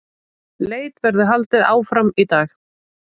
Leit verður haldið áfram í dag